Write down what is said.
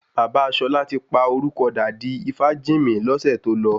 Bàbá Ṣọlá ti pa orúkọ dà di Ifájìnmí lọ́sẹ̀ tó lọ